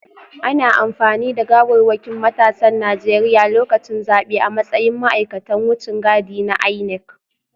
Ana amfani da gawarwakin matasan Najeriya lokacin zabe a matsayin ma’aikatan wucin gadi na INEC